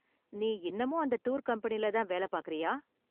நீ இன்னமும் அந்த டூர் கம்பெனியில தான் வேல பாக்கறியா?